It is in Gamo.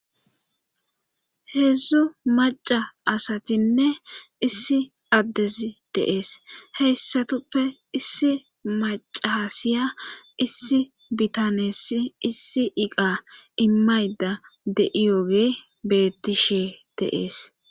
Heedzdzu maca asatinne issi addezi deees heyssatoppe issi macasiya issi bitaneessi issi iqa immayda de'iyooge bettishe deees.